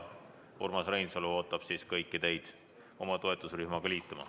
Urmas Reinsalu ootab kõiki teid toetusrühmaga liituma.